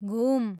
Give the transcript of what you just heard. घुम